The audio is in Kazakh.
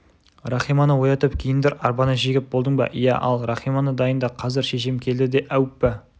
рахиманы оятып киіндір арбаны жегіп болдың ба иә ал рахиманы дайында қазір шешем келді де әуппа